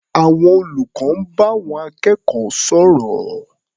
Àwọn olùkọ́ ń bá àwọn akẹ́kọ̀ọ́ sọ̀rọ̀.